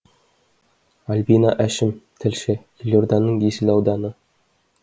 альбина әшім тілші елорданың есіл ауданы